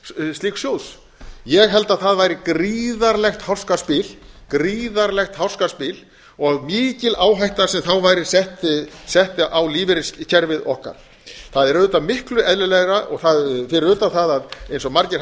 slíks sjóðs ég held að það væri gríðarlegt háskaspil og mikil áhætta sem þá væri sett á lífeyriskerfið okkar það er auðvitað miklu eðlilegra fyrir utan það að eins og margir